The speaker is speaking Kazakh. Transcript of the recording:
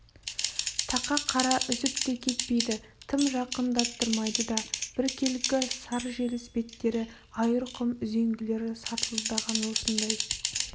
тақа қара үзіп те кетпейді тым жақындаттырмайды да біркелкі сар желіс беттері айырқұм үзеңгілер сартылдаған осындай